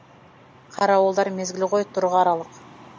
қарауылдар мезгіл ғой тұр қаралық